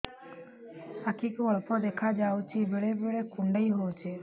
ଆଖି କୁ ଅଳ୍ପ ଦେଖା ଯାଉଛି ବେଳେ ବେଳେ କୁଣ୍ଡାଇ ହଉଛି